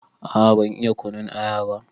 A a ban iya kunun aya ba.